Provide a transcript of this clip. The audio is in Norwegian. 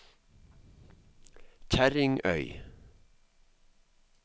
Kjerringøy